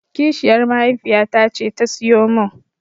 Kishiyar mahaifiyata ce ta siyo min.